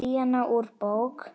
Díana úr bók.